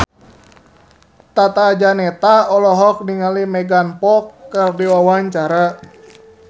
Tata Janeta olohok ningali Megan Fox keur diwawancara